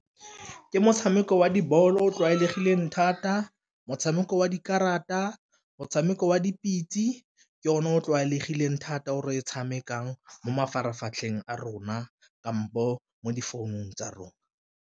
Ke motshameko wa di-ball-o o tlwaelegileng thata, motshameko wa dikarata, motshameko wa dipitse ke yone o o tlwaelegileng thata o re o tshamekang mo mafaratlhatlheng a rona kampo mo difounung tsa rona.